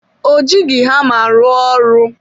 Ọ jighị hama rụọ ọrụ.